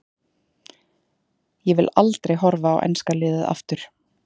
Ég vil aldrei horfa á enska liðið aftur.